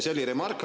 See oli remark.